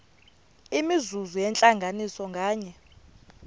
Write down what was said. imizuzu yentlanganiso nganye